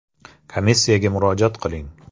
Komissiyaga murojaat qiling.